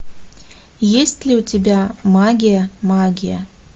есть ли у тебя магия магия